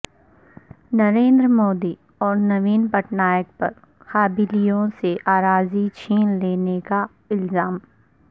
نریندر مودی اور نوین پٹنائیک پر قبائیلیوں سے اراضی چھین لینے کا الزام